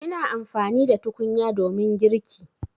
Ina amfani da tukunya domin girki.